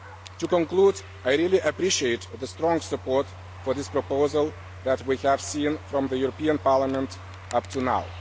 To conclude, I really appreciate the strong support for this proposal that we have seen from the European Parliament up to now.